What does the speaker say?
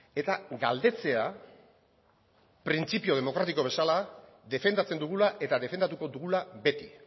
eta galdetzea printzipio demokratiko bezala defendatzen dugula eta defendatuko dugula beti